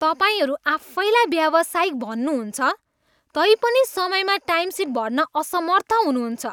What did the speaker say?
तपाईँहरू आफैँलाई व्यावसायिक भन्नुहुन्छ तैपनि समयमा टाइमसिट भर्न असमर्थ हुनुहुन्छ।